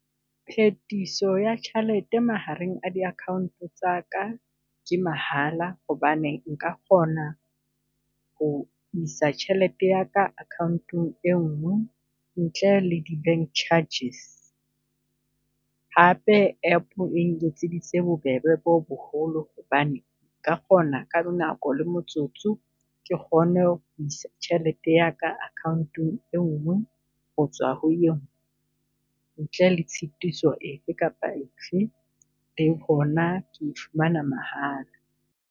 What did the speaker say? Phetiso ya tjhelete mahareng a di account tsa ka, ke mahala hobane nka kgona ho isa tjhelete ya ka account-eng e ngwe ntle le di bank charges. Hape app-eng etseditse bobebe bo boholo hobane ka kgona ka bonako le motsotso ke kgone ho isa tjhelete ya ka akhaonteng e nngwe ho tswa ho engwe, ntle le tshitiso efe kapa efe le hona ke fumana mahala.